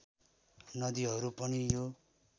नदीहरू पनि यो